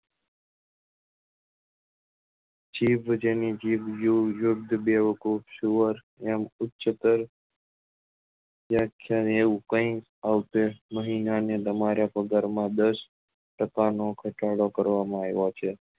જીભ જેની જીભ જો એમ ઉચ્ચત્તર વ્યાખ્યા ને એવું કહી અવશેષ નહી નાં ને તમારા પગાર માં દસ ટકા નો ઘટાડો કરવા માં આવ્યો છે